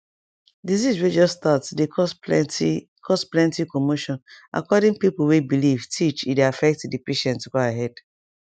disease way just start dey cause plenty cause plenty commotion according pipo way believe teach e dey affect the patient go ahead